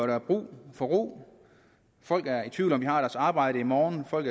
der brug for ro folk er i tvivl om hvorvidt de har deres arbejde i morgen folk